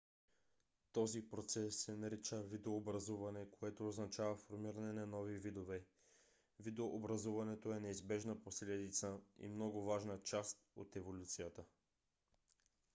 този процес се нарича видообразуване което означава формиране на нови видове. видообразуването е неизбежна последица и много важна част от еволюцията